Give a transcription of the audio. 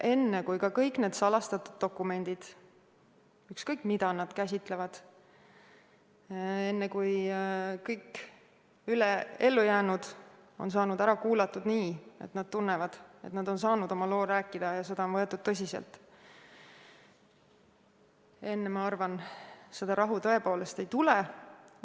Enne, kui kõik need salastatud dokumendid, ükskõik, mida nad käsitlevad, ja enne, kui kõik ellujäänud on ära kuulatud nii, et nad tunnevad, et nad on saanud oma loo ära rääkida ja seda on võetud tõsiselt, enne seda rahu, ma arvan, tõepoolest ei tule.